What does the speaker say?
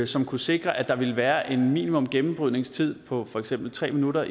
som kunne sikre at der ville være en minimumsgennembrydningstid på for eksempel tre minutter